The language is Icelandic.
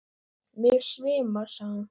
Mig svimar, sagði hún.